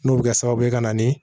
N'o bɛ kɛ sababu ye ka na ni